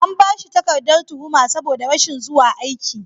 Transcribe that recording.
An ba shi takardar tuhuma sabo da rashin zuwa aiki.